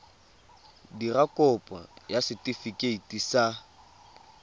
dira kopo ya setefikeiti sa